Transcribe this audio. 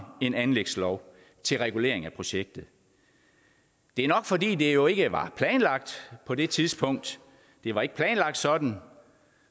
en anlægslov til regulering af projektet det er nok fordi det jo ikke var planlagt på det tidspunkt det var ikke planlagt sådan